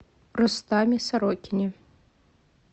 рустаме сорокине